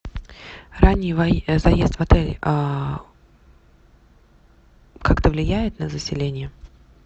ранний заезд в отеле как то влияет на заселение